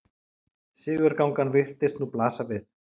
Sigurgangan virtist nú blasa við.